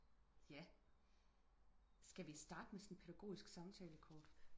Ja skal vi starte med sådan et pædagogisk samtale kort